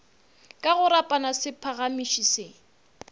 ka go rapama sephagamiši se